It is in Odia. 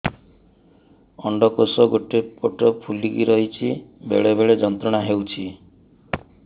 ଅଣ୍ଡକୋଷ ଗୋଟେ ପଟ ଫୁଲିକି ରହଛି ବେଳେ ବେଳେ ଯନ୍ତ୍ରଣା ହେଉଛି